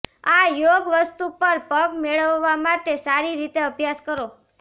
આ યોગ વસ્તુ પર પગ મેળવવા માટે સારી રીતે અભ્યાસ કરો